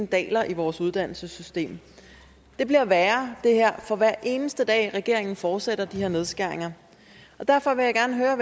daler i vores uddannelsessystem det bliver værre for hver eneste dag regeringen fortsætter de her nedskæringer derfor vil jeg gerne høre